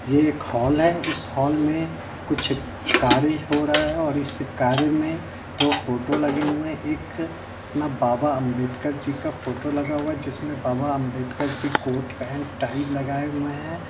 ये एक हॉल है इस हाल मे कुछ कार्य हो रहा है और इस कार्य मे दो फोटो लगे हुए हैं एक बाबा अंबेडकर जी का फोटो लगा हुआ है जिसमे Baba Ambedkar ji coat pant tie लगाये हुए हैं।